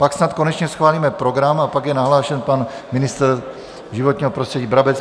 Pak snad konečně schválíme program a pak je nahlášen pan ministr životního prostředí Brabec.